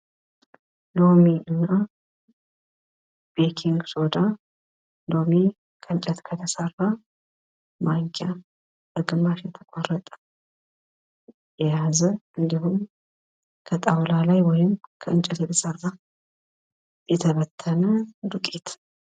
ሎሚ እና ቤኪንግ ሶዳ ሎሚ ከእንጨት ከተሰራ ማንኪያ ግማሽ የተቆረጠ የያዘ እንዲሁም ከጣውላ ላይ ወይም ከእንጨት የተሰራ ላይ የተበተነ ዱቄት።